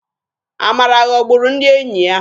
Amara ghọburu ndị enyi ya.